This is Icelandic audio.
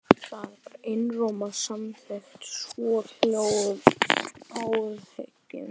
Þar var einróma samþykkt svohljóðandi ályktun